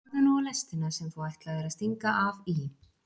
Horfðu nú á lestina sem þú ætlaðir að stinga af í.